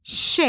Ş.